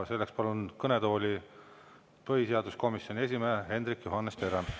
Selleks palun kõnetooli põhiseaduskomisjoni esimehe Hendrik Johannes Terrase.